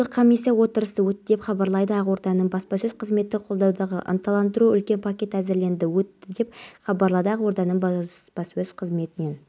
қасиетті қадыр түні дұға жасадым есікті біреу қаққандай болды ашсам ешкім жоқ таңертең қайын ағамның жұбайына